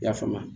I y'a faamu